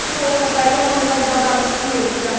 еуропада экономикалық дағдарыс күшейе түсті